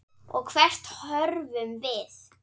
Og hvert horfum við?